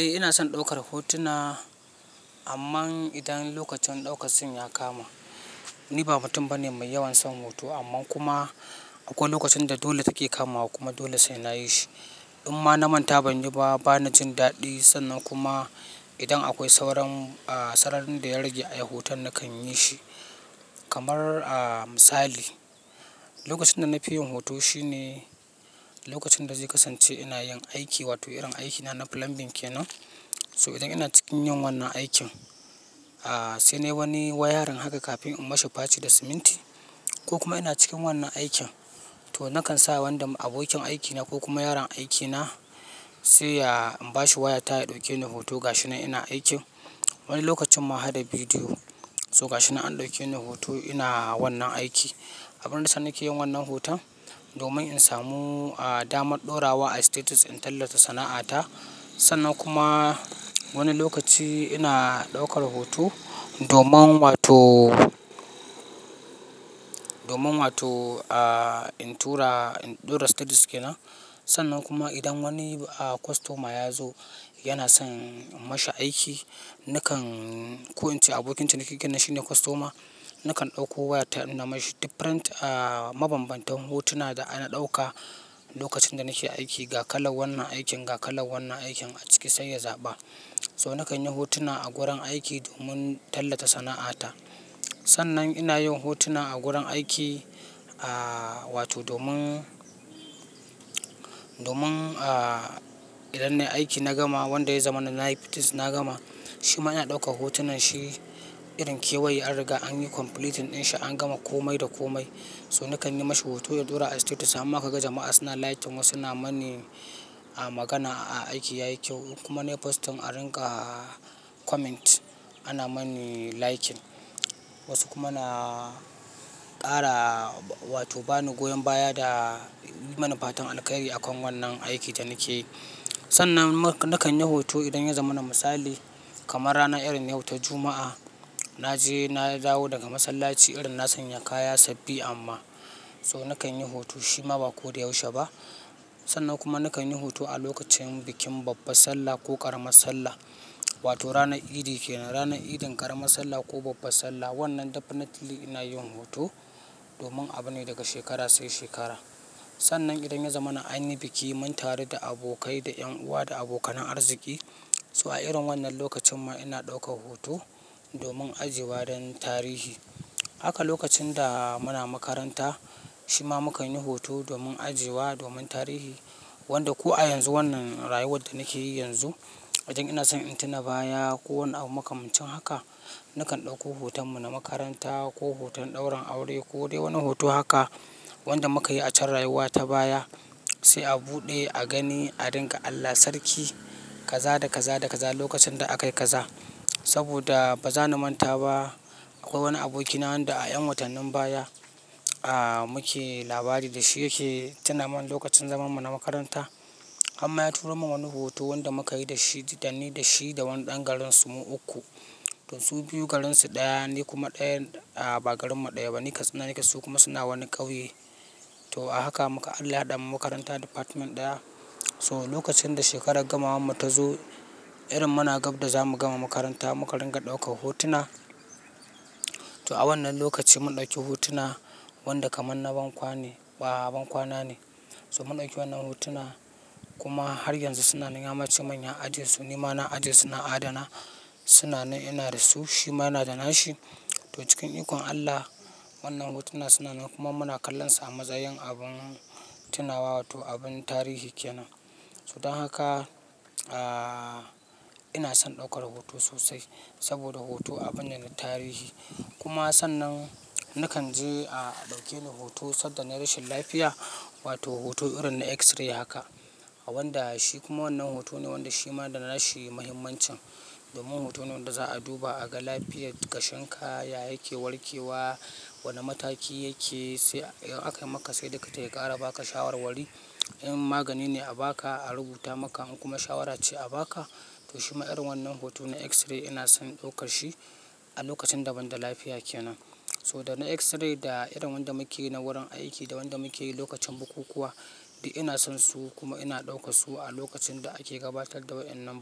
Eh ina son daukar hotuna, amman idan lokacin daukar sun ya kama. Ni ba mutum bane mai yawan son hoto amma kuma akwai lokacin da dole take kamawa kuma dole sai nayi shi. In ma na manta banyi ba, bana jin daɗi. Sannan kuma idan akwai sauran a sararin da ya rage a yi hoton nakan yi shi. Kamar a misali, lokacin da na fi yin hoto shine lokacin da zai kasance ina yin aiki, wato irin aikina na plumbing kenan. So idan ina cikin yin wannan aikin, a sai nayi wani wayarin haka kafin in mashi faci da siminti, ko kuma ina cikin wannan aikin, to nakan sa wanda abokin aikina ko kuma yaron aikina sai ya in bashi waya ta ya dauke ni hoto ga shi nan ina aiki. Wani lokacin ma hada bidiyo. So ga shi nan an dauke ni hoto ina wannan aiki. Abun da yasa nake yin wannan hoton domin in samu a damar ɗora wa a status in tallata sana'ata. Sannan kuma wani lokaci ina daukar hoto domin wato domin wato a in tura, in ɗora status kenan. Sannan kuma idan wani a kwastoma ya zo yana son in mashi aiki, nakan ko in ce abokinciniki kenan shi ne kwastoma, nakan ɗauko waya ta innuna mashi difirent a mabambantan hotuna da ana ɗauka lokacin da nake aiki ga kalan wannan aikin, ga kalan wannan aikin a ciki sai ya zaɓa. So nakan yi hotuna a gurin aiki domin tallata sana'ata. Sannan ina yin hotuna a gurin aiki, a wato domin, domin a idan nayi aiki na gama wanda ya zama na yi fitis na gama, shi ma ina dauka hotunan shi irin kewaye an riga an yi complete ɗin shi an gama komai da komai. So nakan yi mashi hoto ya ɗora a status, hamma ka ga jama'a suna liking wasu na mani a magana aiki yayi kyau kuma na yi postin a ringa comment ana mani liking. Wasu kuma na kara wato bani goyon baya da yi mana fatan alkairi akan wannan aikin da nake yi. Sannan nakan yi hoto idan ya zama na misali kamar rana irin na yau ta Juma'a, na je na dawo daga masallaci irin na sanya kaya sabbi amma so nakan yi hoto shi ma ba ko da yaushe ba. Sannan kuma nakan yi hoto a lokacin bikin babbar sallah ko ƙaramar sallah, wato ranar idi kenan. Ranar idin ƙaramar sallah ko babbar sallah wannan definitely ina yin hoto domin abune daga shekara sai shekara. Sannan idan ya zamma na anyi biki mun taru da abokai, da 'yan uwa, da abokanan arziki. So a irin wannan lokacin ma ina ɗauka hoto domin ajiwa don tarihi. Haka lokacin da muna makaranta shi ma mukan yi hoto domin ajewa, domin tarihi. Wanda ko a yanzu wannan rayuwar da nake yi yanzu, idan ina son in tuna baya ko wani abu makamancin haka, nakan ɗauko hoton mu na makaranta ko hoton daurin aure ko dai wani hoto haka wanda muka yi a can rayuwa ta baya sai a buɗe a gani a dinga Allah sarki kaza da kaza da kaza lokacin da aka yi kaza. Saboda ba za na manta ba akwai wani abokina wanda a ƴan watannin baya, a muke labari da shi yake tuna min lokacin zaman mu na makaranta hamma ya turo min wani hoto wanda muka yi da shi, dani da shi da wani ɗan garin su mu uku. To su biyu garinsu ɗaya, ni kuma ɗayan a bagarin mu ɗayaba ni ƙatsina nake su kuma suna wani ƙauye. To a haka muka Allahɗa mu makaranta department ɗaya. To lokacin da shekarar gamawan mu ta zo irin muna gab da za mu gama makaranta mu ka riga ɗaukar hotuna. To a wannan lokaci mun ɗauki hotuna wanda kaman na ban kwane, ba ban kwana ne. So mun ɗauki wannan hotuna kuma har yanzu sunan yamace ya aje su, ni ma na ajesu na adana. Tuna nan ina da su shi ma yana da nashi. To cikin ikon Allah wannan hotuna sunan kuma muna kallonsu a matsa yin abun tunawa wato abin tarihi kenan. So don haka, a ina son ɗaukar hoto sosai saboda hoto abune na tarihi. Kuma sannan nakan je a ɗauke ni hoto sanda na yi rashin lafiya wato hoto irin na x-ray haka. A wanda shi kuma wannan hoto ne wanda shi ma da nashi muhimmancin domin hoto ne wanda za a duba a ga lafiyar kashin ka ya yake warke wa, wane mataki yake sai idan aka yi maka sai likita ya ƙara baka shawar wari. In magani ne a baka a rubuta maka in kuma shawara ce a baka. To shima irin wannan hoto na x-ray ina son daukar shi a lokacin daban da lafiya kenan. So danna x-ray da irin wanda muke yi na wurin aiki da wanda muke yi lokacin bukukuwa, dik ina son su kuma ina ɗaukan su a lokacin da ake gabatar da wa'ennan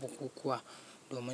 bukukuwa domin.